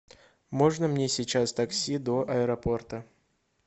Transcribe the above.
можно мне сейчас такси до аэропорта